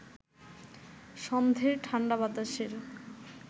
সন্ধের ঠাণ্ডা বাতাসের